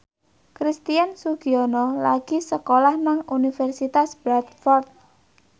Christian Sugiono lagi sekolah nang Universitas Bradford